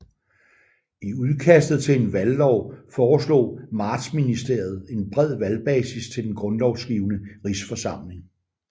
I udkastet til en valglov foreslog Martsministeriet en bred valgbasis til Den Grundlovgivende Rigsforsamling